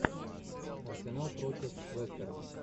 арсенал против лестера